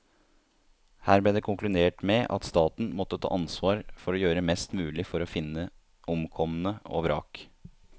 Her ble det konkludert med at staten måtte ta ansvar for å gjøre mest mulig for å finne omkomne og vrak.